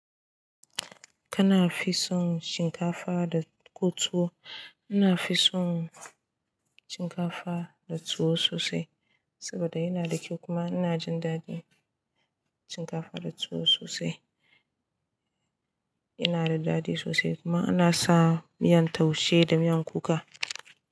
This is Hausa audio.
Kana fi son shinkafa da ko tuwo? Ina fi son shinkafa da tuwo sosai saboda yana da kyau kuma ina jin daɗin shinkafa da tuwo sosai. Yana da daɗi sosai kuma ana sa miyan taushe da miyan kuka.